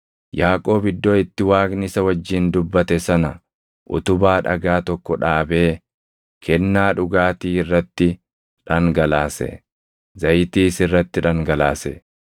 Yaaqoob iddoo itti Waaqni isa wajjin dubbate sana utubaa dhagaa tokko dhaabee kennaa dhugaatii irratti dhangalaase; zayitiis irratti dhangalaase.